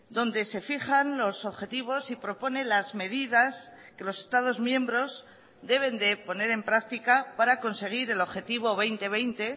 donde se fijan los objetivos y propone las medidas que los estados miembros deben de poner en práctica para conseguir el objetivo dos mil veinte